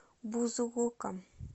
бузулуком